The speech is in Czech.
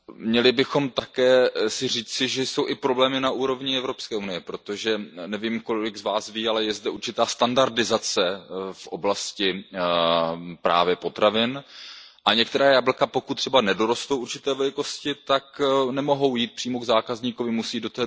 Měli bychom si také říci, že jsou i problémy na úrovni EU, protože nevím, kolik z vás ví, ale je zde určitá standardizace v oblasti právě potravin a některá jablka, pokud třeba nedorostou určité velikosti, tak nemohou jít přímo k zákazníkovi, musí např.